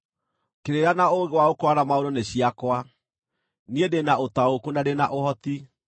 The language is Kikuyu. Kĩrĩra na ũũgĩ wa gũkũũrana maũndũ nĩ ciakwa; niĩ ndĩ na ũtaũku, na ndĩ na ũhoti.